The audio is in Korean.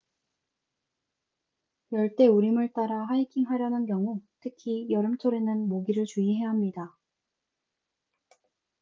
열대 우림을 따라 하이킹하려는 경우 특히 여름철에는 모기를 주의해야 합니다